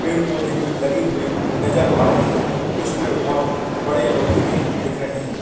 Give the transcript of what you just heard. पेड़ पौधे भी लगे हुए नजर आ रहे है कुछ पेड़ बहुत बड़े और घने दिख रहे है।